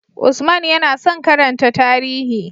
Usman yana son karanta tarihi.